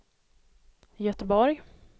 Göteborg